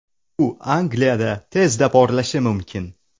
U Angliyada tezda porlashi mumkin.